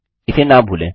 इसे न भूलें